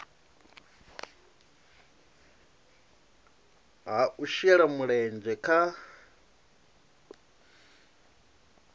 ha u shela mulenzhe kha